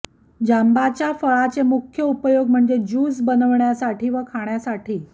जांबाच्या फळाचे मुख्य उपयोग म्हणजे ज्यूस बनवण्यासाठी व खाण्यासाठी